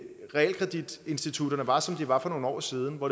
realkreditinstitutterne var som de var for nogle år siden hvor